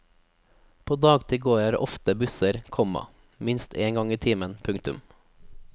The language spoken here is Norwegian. På dagtid går her ofte busser, komma minst en gang i timen. punktum